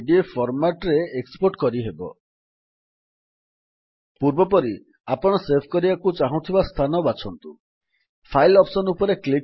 A S before standard tool bar ରେ ଥିବା export directly as PDF option ରେ click କରି ଡକ୍ୟୁମେଣ୍ଟ୍ କୁ ପିଡିଏଫ୍ ଫର୍ମାଟ୍ ରେ ଏକ୍ସପୋର୍ଟ କରିହେବ